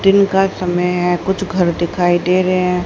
दिन का समय है कुछ घर दिखाई दे रहे हैं।